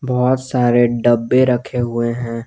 बहोत सारे डब्बे रखे हुए हैं।